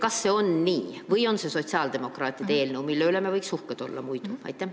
Kas see on nii või on see sotsiaaldemokraatide eelnõu, mille üle me võiksime uhked olla?